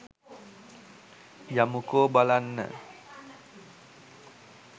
යමුකෝ බලන්න